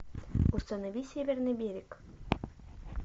установи северный берег